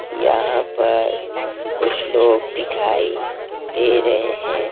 यहां पर कुछ लोग दिखाई दे रहे हैं।